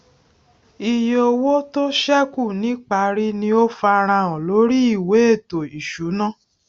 iye owó tó sẹkù niparí ni ó farahàn lórí ìwé ètò ìṣúná